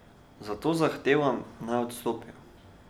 Zato zahtevam, naj odstopijo.